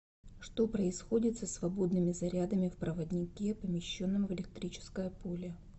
что происходит со свободными зарядами в проводнике помещенном в электрическое поле